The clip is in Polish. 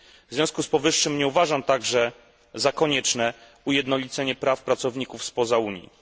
W związku z powyższym nie uważam także, by za konieczne było ujednolicenie praw pracowników spoza Unii.